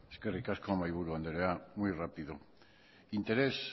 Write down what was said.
eskerrik asko mahaiburu andrea muy rápido interés